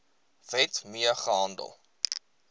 wet mee gehandel